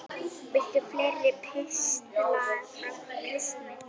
Viltu fleiri pistla frá Kristni?